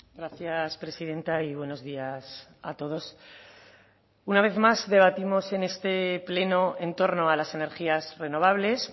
gracias presidenta y buenos días a todos una vez más debatimos en este pleno en torno a las energías renovables